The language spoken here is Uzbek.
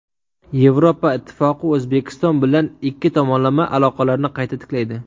Yevropa Ittifoqi O‘zbekiston bilan ikki tomonlama aloqalarni qayta tiklaydi.